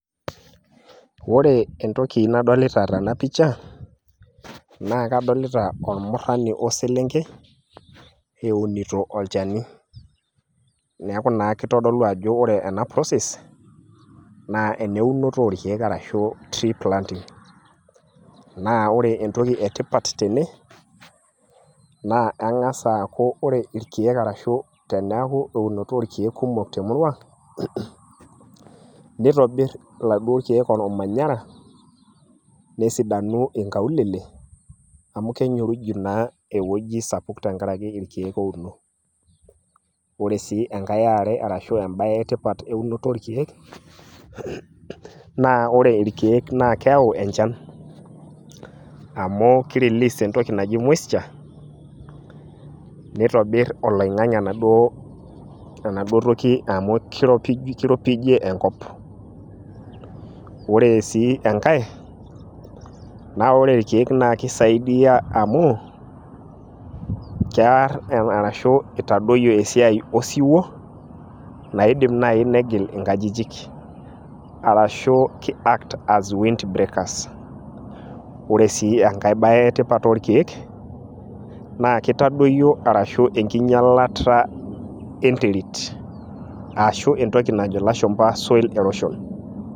ore entoki nadolita tena picha naa kadolita ormurani we selenkei eunito olchani. kadol ajo ore ena process nss eneunoto orkeek ashu tree planting. naa ore entoki etipat tene naa kengas aaku ore irkeek, arashu teneeku irkeek kumok temurua, neitobr iladuoo keek olmanyara, nesidanu inkaulele, amu kenyyoriju naa ewueji sapuk tenkaraki irkeek ouno, ore sii enkae e are ashu ebae etipat tenkaraki eunoto orkeek, naa ore irkkeek naa keyau enchan, amu ki release entoki naji moisture nitobir oloing'ang'e enaduoo toki, amu kiropijie enkop. ore sii enkae, naa ore irkeek kisaidia amu, keer arashu itadoyio esiai osiwuo, naidim naaji negil inkajijik ,arashu ki act as windbreakers. ore sii enkae bae etipat orkeek naa kitadoyi enking'ialata enterit arashu entoki najo lashumpa solil erosion.